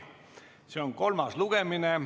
See on kolmas lugemine.